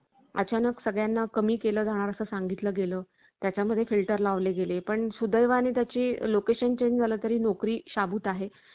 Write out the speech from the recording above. अचानक सगळ्यांना कमी केला जाणार असं सांगितलं गेलं. त्याच्या मध्ये filter लावले गेले पण सुदैवाने त्याची location change झाला तरी नोकरी शाबूत आहे